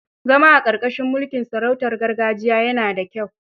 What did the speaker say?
Zama a ƙarƙashin mulkin sarautar gargajiya yana da kyau.